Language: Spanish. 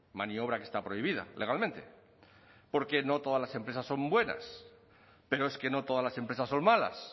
maniobra que está prohibida legalmente porque no todas las empresas son buenas pero es que no todas las empresas son malas